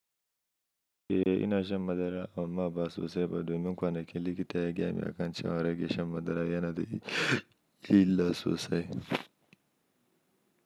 Eh ina shan madara amma ba sosai ba domin kwanaki likita ya jani akancewa in rage shan madara yana da illa sosai.